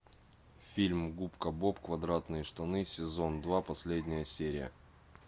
фильм губка боб квадратные штаны сезон два последняя серия